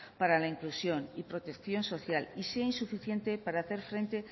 para inclusión y protección social y sea insuficiente para hacer frente